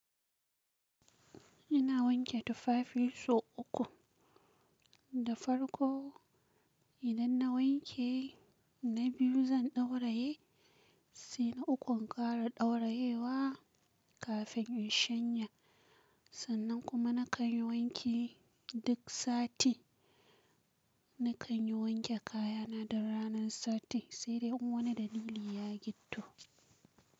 Ina wanke tufafi sau uku da farko. Idan na wanke, na biyu zan ɗauraye, sai na ukun in ƙara ɗaurayewa kafin in shanya. Sannan kuma na kan yi wanki duk sati. Na kan yi wanke kaya na duk ranan sati, sai dai in wani dalili ya ditto.